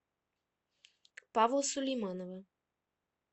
павла сулейманова